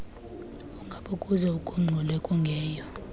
ungabokuze ugungxule kungeyo